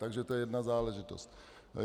Takže to je jedna záležitost.